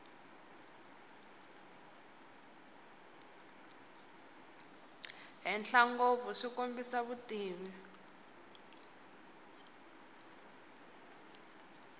henhla ngopfu byi kombisa vutivi